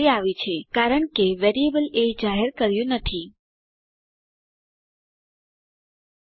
તે આવી છે કારણ કે વેરીએબલ એ જાહેર કર્યું ન હતું